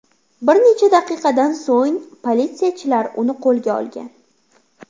Bir necha daqiqadan so‘ng politsiyachilar uni qo‘lga olgan.